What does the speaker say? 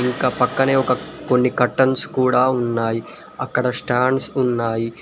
ఇంకా పక్కనే ఒక కొన్ని కర్టన్స్ కూడా ఉన్నాయి అక్కడ స్టాండ్స్ ఉన్నాయి.